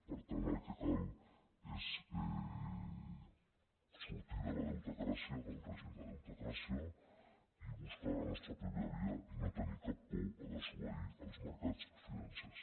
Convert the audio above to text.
per tant el que cal és sortir de la deutecràcia del règim de deutecràcia i buscar la nostra pròpia via i no tenir cap por a desobeir els mercats financers